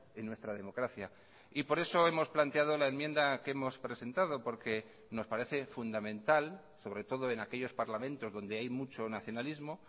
en nuestra democracia y por eso hemos planteado la enmienda que hemos presentado porque nos parece fundamental sobre todo en aquellos parlamentos donde hay mucho nacionalismo